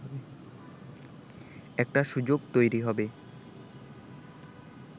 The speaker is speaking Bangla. একটা সুযোগ তৈরি হবে